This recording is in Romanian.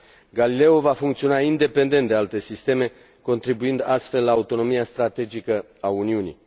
Galileo va funcționa independent de alte sisteme, contribuind astfel la autonomia strategică a Uniunii.